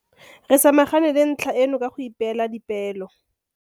Re samagane le ntlha eno ka go ipeela dipeelo.